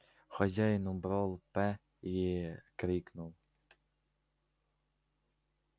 хозяин убрал п и крикнул